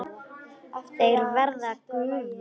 Þeir verða gufur.